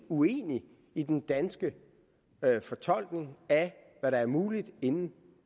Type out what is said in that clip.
uenig i den danske fortolkning af hvad der er muligt inden